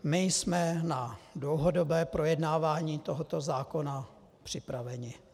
My jsme na dlouhodobé projednávání tohoto zákona připraveni.